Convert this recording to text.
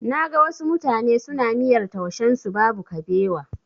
Na ga wasu mutane suna miyar taushen su babu kabewa.